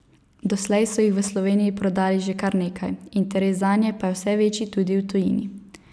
Doslej so jih v Sloveniji prodali že kar nekaj, interes zanje pa je vse večji tudi v tujini.